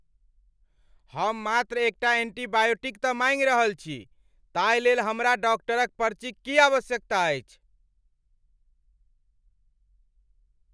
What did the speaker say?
हम मात्र एकटा एंटीबायोटिक तँ माँगि रहल छी! ताहिलेल हमरा डाक्टरक पर्चीक की आवश्यकता अछि?